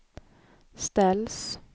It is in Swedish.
ställs